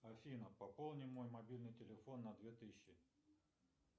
афина пополни мой мобильный телефон на две тысячи